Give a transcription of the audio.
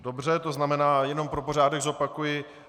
Dobře, to znamená, jenom pro pořádek zopakuji.